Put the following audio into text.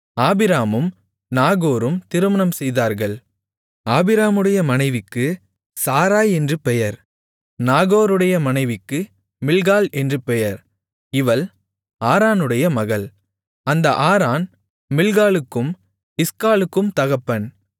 ஆபிராமும் நாகோரும் திருமணம் செய்தார்கள் ஆபிராமுடைய மனைவிக்கு சாராய் என்று பெயர் நாகோருடைய மனைவிக்கு மில்க்காள் என்று பெயர் இவள் ஆரானுடைய மகள் அந்த ஆரான் மில்க்காளுக்கும் இஸ்காளுக்கும் தகப்பன்